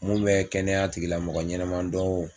Mun bɛ kɛnɛya tigilamɔgɔ ɲɛnama dɔn wo.